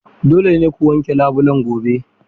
Dole ne ku wanke labulen gobe.